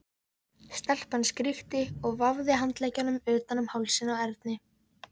Stelpan skríkti og vafði handleggjunum utan um hálsinn á Erni.